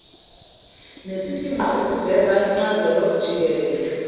nesifingqo esiveza incazelojikelele